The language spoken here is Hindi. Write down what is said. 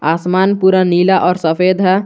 आसमान पूरा नीला और सफेद है।